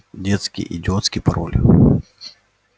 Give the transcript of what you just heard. детский идиотский пароль